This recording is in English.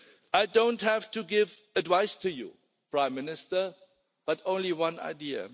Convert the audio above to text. I do not have to give advice to you, Prime Minister, but only one idea.